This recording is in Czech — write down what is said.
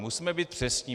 Musíme být přesní.